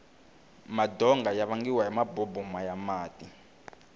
madonga ya vangiwa hi maboboma ya mati